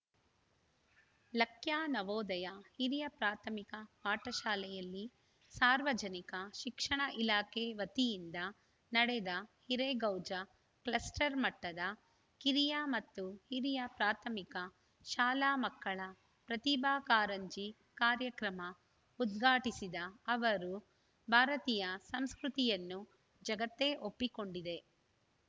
ಲಕ್ಯಾ ನವೋದಯ ಹಿರಿಯ ಪ್ರಾಥಮಿಕ ಪಾಠ ಶಾಲೆಯಲ್ಲಿ ಸಾರ್ವಜನಿಕ ಶಿಕ್ಷಣ ಇಲಾಖೆ ವತಿಯಿಂದ ನಡೆದ ಹಿರೇಗೌಜ ಕ್ಲಸ್ಟರ್‌ ಮಟ್ಟದ ಕಿರಿಯ ಮತ್ತು ಹಿರಿಯ ಪ್ರಾಥಮಿಕ ಶಾಲಾ ಮಕ್ಕಳ ಪ್ರತಿಭಾ ಕಾರಂಜಿ ಕಾರ್ಯಕ್ರಮ ಉದ್ಘಾಟಿಸಿದ ಅವರು ಭಾರತೀಯ ಸಂಸ್ಕೃತಿಯನ್ನು ಜಗತ್ತೇ ಒಪ್ಪಿಕೊಂಡಿದೆ